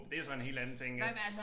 Det er så en helt anden ting ja